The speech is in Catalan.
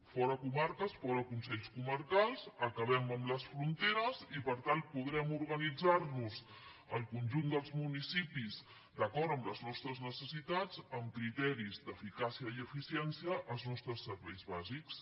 fora comarques fora consells comarcals acabem amb les fronteres i per tant podrem organitzarnos el conjunt dels municipis d’acord amb les nostres necessitats amb criteris d’eficàcia i eficiència els nostres serveis bàsics